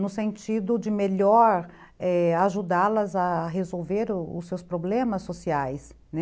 No sentido de melhor , é... ajudá-las a resolver os seus problemas sociais, né?